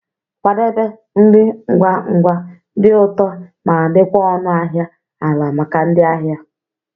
Kwadebe nri ngwa ngwa, di ụtọ ma di kwa ọnụ ahịa ala maka ndị ahịa.